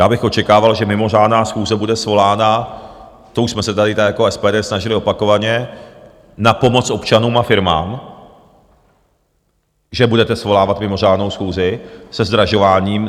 Já bych očekával, že mimořádná schůze bude svolána, to už jsme se tady jako SPD snažili opakovaně, na pomoc občanům a firmám, že budete svolávat mimořádnou schůzi se zdražováním.